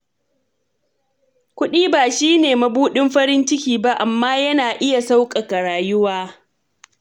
Kuɗi ba shi ne mabuɗin farin ciki ba, amma yana iya sauƙaƙa rayuwa.